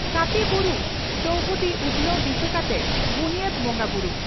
ᱠᱟᱯᱤ ᱵᱩᱨᱩ ᱪᱚᱣᱦᱩᱫᱤ ᱩᱛᱷᱱᱟᱹᱣ ᱫᱤᱥᱟᱹ ᱠᱟᱛᱮ ᱵᱩᱱᱭᱟᱹᱫᱽ ᱵᱚᱸᱜᱟ ᱵᱩᱨᱩ